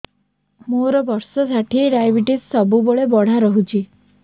ମୋର ବର୍ଷ ଷାଠିଏ ଡାଏବେଟିସ ସବୁବେଳ ବଢ଼ା ରହୁଛି